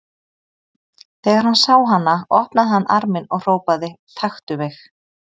Þegar hann sá hana opnaði hann arminn og hrópaði: Taktu mig!